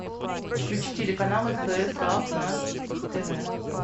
включи телеканал стс лав на тв